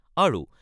আৰু